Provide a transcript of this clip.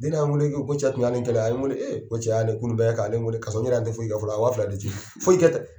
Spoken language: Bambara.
Ni ne y'a wele k'i ko cɛ tun y' a le kɛnɛya a ye wele eee ko cɛ y' a le kunu b' kɛ k' a le wele kasɔrɔ ne yɛrɛ an tɛ foyi kɛ fɔlɔ a ye waa fila de ci, foyi kɛ tɛ.